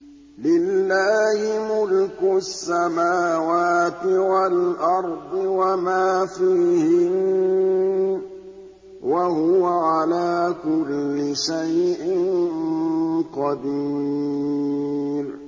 لِلَّهِ مُلْكُ السَّمَاوَاتِ وَالْأَرْضِ وَمَا فِيهِنَّ ۚ وَهُوَ عَلَىٰ كُلِّ شَيْءٍ قَدِيرٌ